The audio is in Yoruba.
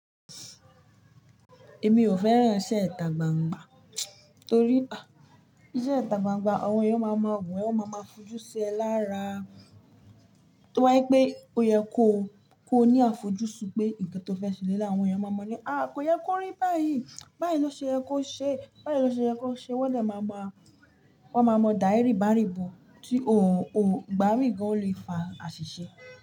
Èmi ò fẹ́ràn iṣẹ́ ìtà gbangba torí iṣẹ́ ìtà gbangba àwọn èèyàn máa ma wù ẹ́, wọn máa ma fojú sí ẹ lára. Tí wọ́n bá gbé, ó yẹ kó ní àfojúsùn pé nǹkan tó fẹ́ ṣe nílé àwọn èèyàn máa mọ̀ ní, "à kò yẹ kó rí báyìí, báyìí ló ṣe ẹ kó ṣe, báyìí ló ṣe ẹ kó ṣe". Wọ́n lè máa mà, wọ́n máa mọ̀ da ẹ rí bà rí bò tí ò ń gbárìn bòri fà àṣìṣe.